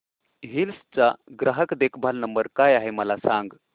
hills चा ग्राहक देखभाल नंबर काय आहे मला सांग